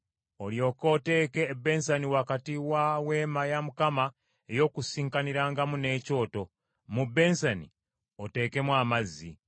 olyoke oteeke ebbensani wakati wa Weema ey’Okukuŋŋaanirangamu n’ekyoto, mu bbensani oteekemu amazzi.